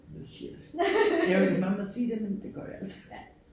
The shit jeg ved ikke om man må sige det men det gør jeg altså